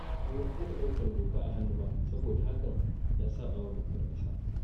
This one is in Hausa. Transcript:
Ban yarda da ɗaukar doka a hannu ba saboda hakan ya saɓa wa dokar ƙasa.